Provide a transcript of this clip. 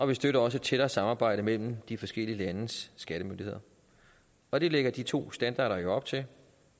vi støtter også et tættere samarbejde mellem de forskellige landes skattemyndigheder og det lægger de to standarder jo op til